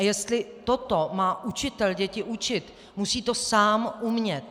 A jestli toto má učitel děti učit, musí to sám umět.